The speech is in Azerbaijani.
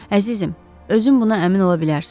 Əzizim, özün buna əmin ola bilərsən.